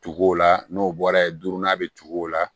Tuguw la n'o bɔra ye duurunan bɛ tugu o la